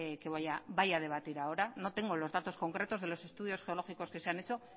que vaya a debatir ahora no tengo los datos concretos de los estudios geológicos que se han hecho